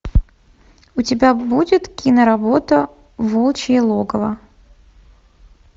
у тебя будет киноработа волчье логово